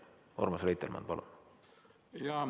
Urmas Reitelmann, palun!